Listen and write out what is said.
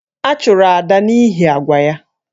A chụrụ Ada n’ihi àgwà ya